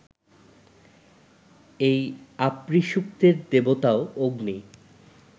এই আপ্রীসূক্তের দেবতাও অগ্নি